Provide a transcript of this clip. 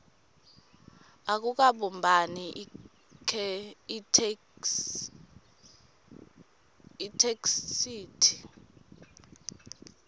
akukabumbani itheksthi